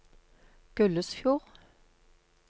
Gullesfjord